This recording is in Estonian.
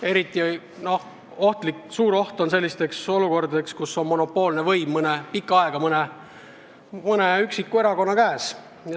Eriti suur oht selliste olukordade tekkeks on siis, kui monopoolne võim on pikka aega olnud ühe erakonna käes.